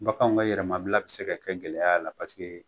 Bakanw ka yɛrɛmabila bɛ se ka kɛ gɛlɛya a la